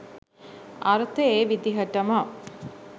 අර්ථ ඒ විදිහටම